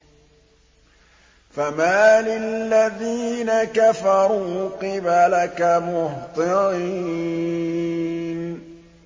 فَمَالِ الَّذِينَ كَفَرُوا قِبَلَكَ مُهْطِعِينَ